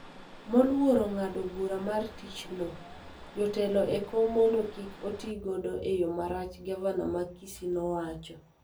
moluoro ng�ado bura mar thicho jotelo e kom mondo kik otigodo e yo marach, gavana mar Kisii nowacho.